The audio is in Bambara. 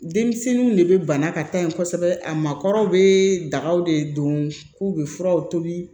Denmisɛnninw de bɛ bana ka taa ye kosɛbɛ a makɔrɔ bɛ daga de don k'u bɛ furaw tobi